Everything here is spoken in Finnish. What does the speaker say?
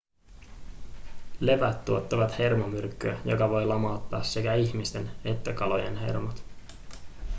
levät tuottavat hermomyrkkyä joka voi lamauttaa sekä ihmisten että kalojen hermot